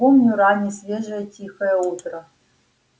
помню раннее свежее тихое утро